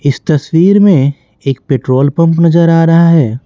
इस तस्वीर में एक पेट्रोल पंप नजर आ रहा है।